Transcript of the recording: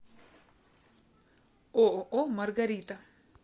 ооо маргарита